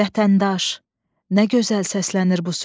Vətəndaş, nə gözəl səslənir bu söz.